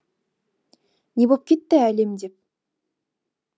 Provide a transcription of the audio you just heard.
не боп кетті әлем деп